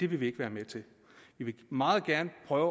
vil vi ikke være med til vi vil meget gerne prøve